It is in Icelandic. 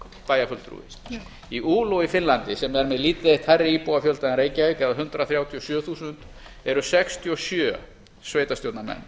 bæjarfulltrúi í oulu í finnlandi sem er með lítið eitt hærri íbúafjölda en reykjavík eða hundrað þrjátíu og sjö þúsund eru sextíu og sjö sveitarstjórnarmenn